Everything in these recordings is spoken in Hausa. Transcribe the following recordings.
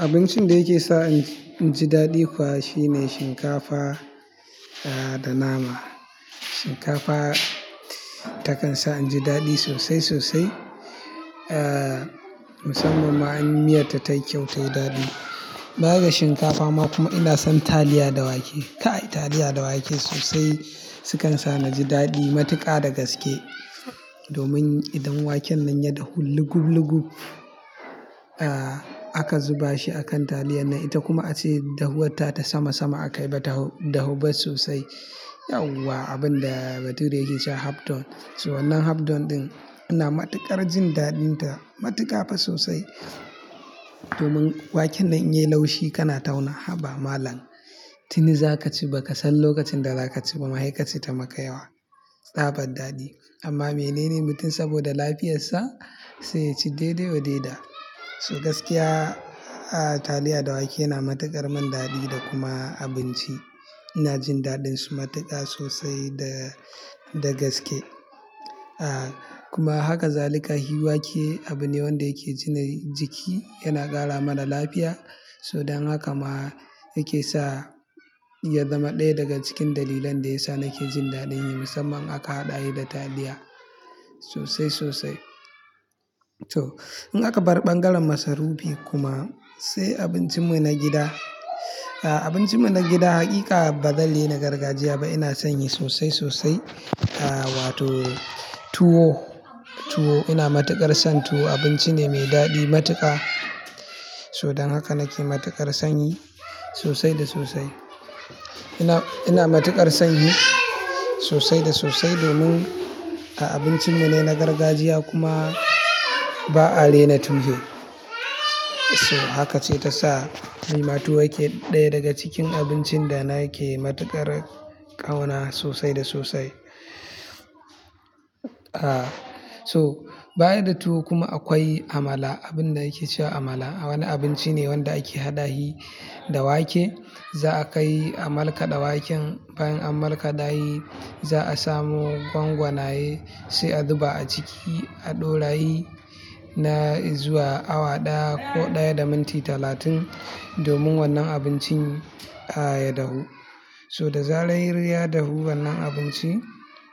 Abincin da yasa in ji daɗi kuwa shine shinkafa da nama. Shinkafa ta kan sa in ji daɗi sosai sosai. Ah, musamman ma in miya ta tayi kyau tayi daɗi. Baya da shinkafa ma kuma ina son taliya da wake. Kai taliya da wake sosai, sukan sa na ji daɗi matuƙa da gaske. Domin idan waken nan ya dahu lugub lugub, ah, aka zuba shi a kan taliyan nan ita kuma ace dahuwarta ta sama sama aka yi mata dahu ba sosai. Yauwa abin da bature yake cewa half done. So wannan half done ina matuƙar jin daɗin ta, matuƙa fah sosai. Domin waken nan in yi laushi kana tauna, "Haba malam, tini za ka ci ba ka san lokacin da za ka ci ba." Ma'aikaci ta maka yawa, tsabar daɗi. Amma menene mutum saboda lafiyarsa sai ya ci daidai wa daida. So gaskiya, ah, taliya da wake yana matuƙar min daɗi da kuma abinci. Ina jin daɗin su matuƙa sosai dagaske. Ah, kuma haka zalika hi wake abu ne wanda yake jinin jiki yana ƙara mana lafiya. Don haka ma nake sa ya zama ɗaya daga cikin dalilan da ya sa nake jin daɗin yi musamman aka haɗa shi da taliya sosai sosai. So in aka bar ɓangaren masarufi kuma, sai abincin mu na gida. Abincin mu na gida hakika ba zai lena gargajiya ba. Ina son yi sosai sosai. Ah, wato tuwo, tuwo ina matuƙar son tuwo. Abinci ne mai daɗi matuƙa. Don haka nake matuƙar son yi sosai da sosai. Ina matuƙar son yi sosai da sosai domin abincin mu ne na gargajiya kuma ba'a raina tushe. So haka ce ta sa tuwo yake ɗaya daga cikin abincin da nake matuƙar ƙauna sosai da sosai. Ah, so bayan da tuwo kuma akwai amala. Abin da yake cewa amala. Wani abinci ne wanda ake haɗa shi da wake. Za'a kai amalkaɗa waken. Bayan amalkaɗa shi za'a samo gwangwanaye. Sai a zuba a ciki a ɗora shi na zuwa awa ɗaya ko ɗaya da minti talatin. Domin wannan abincin, ah, da dahu. Toh, da zarar ya dahu wannan abinci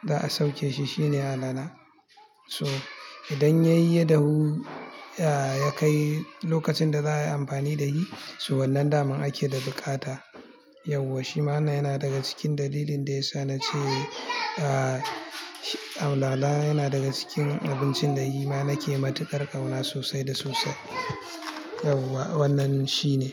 za'a sauke shi shine alala. So idan ya yi ya dahu, ya kai lokacin da za'a yi amfani da shi. Toh, wannan daman ake da bukata. Yauwa shima yana daga cikin dalilin da ya sa na ce, ah, alala yana daga cikin abincin da shi ma nake matuƙar ƙauna sosai da sosai. Yauwa wannan shi ne.